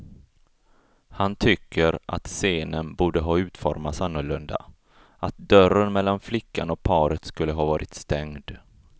Han tycker att scenen borde ha utformats annorlunda, att dörren mellan flickan och paret skulle ha varit stängd.